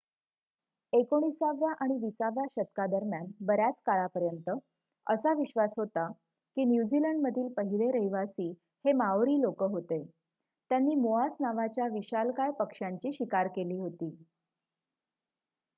एकोणिसाव्या आणि विसाव्या शतकादरम्यान बर्‍याच काळापर्यंत असा विश्वास होता की न्यूझीलंडमधील पहिले रहिवासी हे माओरी लोकं होते त्यांनी मोआस नावाच्या विशालकाय पक्ष्यांची शिकार केली होती